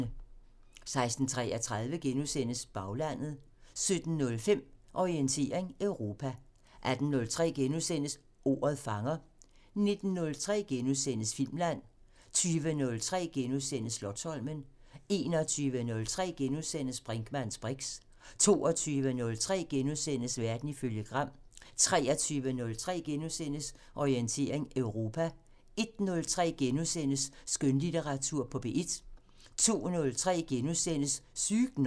16:33: Baglandet * 17:05: Orientering Europa 18:03: Ordet fanger * 19:03: Filmland * 20:03: Slotsholmen * 21:03: Brinkmanns briks * 22:03: Verden ifølge Gram * 23:03: Orientering Europa * 01:03: Skønlitteratur på P1 * 02:03: Sygt nok *